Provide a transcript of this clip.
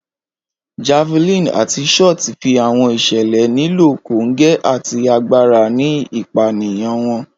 Javelin ati shot fi awọn iṣẹlẹ nilo konge ati agbara ni ipaniyan wọn.